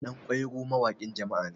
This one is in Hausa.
ɗankwairo mawakin jama'a ne